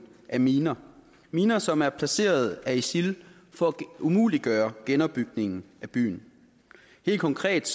af miner miner som er placeret af isil for at umuliggøre genopbygningen af byen helt konkret